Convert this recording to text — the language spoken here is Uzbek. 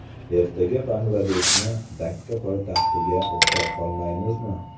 Ertaga Bangladeshni Dakka poytaxtiga o‘xshab qolmaymizmi?!